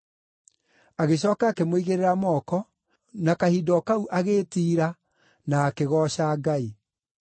Agĩcooka akĩmũigĩrĩra moko, na kahinda o kau agĩĩtiira, na akĩgooca Ngai.